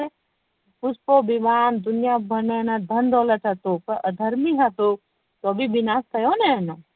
પુષ્પક વિમાન દુનિયા ભર નું એને ધન દોલત હતું પણ અધર્મિ હતો તો બી વિનાષ થયો ને